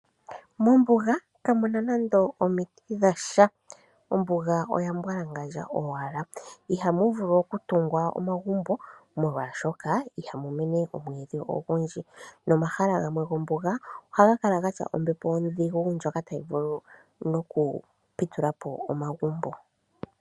Mombuga kamu na nande omiti dha sha, ombuga oya mbwalangandja owala. Ihamu vulu oku tungwa omagumbo molwa shoka itamu mene omwiidhi ogu ndji, nomahala gamwe gombuga oha ga kala nombepo odhigu ndjoka tayi vulu oku pitulapo omagumbo.